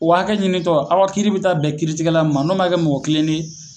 O hakɛ ɲinitɔ aw ka kiiri be ta bɛn kiiritigɛla min ma n'o ma kɛ mɔgɔ kilennen ye